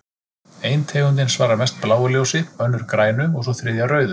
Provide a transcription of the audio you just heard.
Ein tegundin svarar mest bláu ljósi, önnur grænu og sú þriðja rauðu.